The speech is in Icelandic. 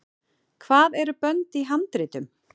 hvað eru bönd í handritum